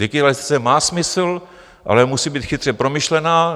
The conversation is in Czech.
Digitalizace má smysl, ale musí být chytře promyšlená.